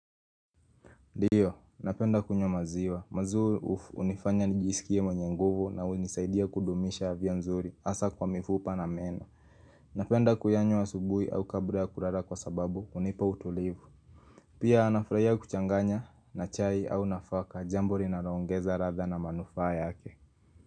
Ndiyo, napenda kunywa maziwa, maziwa hunifanya nijisikie mwenye nguvu na unisaidia kudumisha avya nzuri, hasa kwa mifupa na meno. Napenda kuyanywa asubuhi au kabra ya kurara kwa sababu, hunipa utulivu. Pia nafurahia kuchanganya na chai au nafaka, jambo rinaroongeza ratha na manufaa yake.